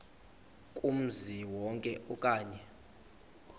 kumzi wonke okanye